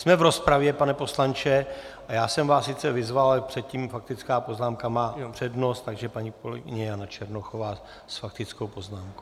Jsme v rozpravě, pane poslanče , a já jsem vás sice vyzval, ale předtím faktická poznámka má přednost, takže paní kolegyně Jana Černochová s faktickou poznámkou.